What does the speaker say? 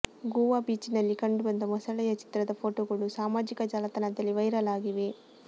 ಗೋವಾ ಬೀಚಿನಲ್ಲಿ ಕಂಡುಬಂದ ಮೊಸಳೆಯ ಚಿತ್ರದ ಫೋಟೋಗಳು ಸಾಮಾಜಿಕ ಜಾಲತಾಣದಲ್ಲಿ ವೈರಲ್ ಆಗಿವೆ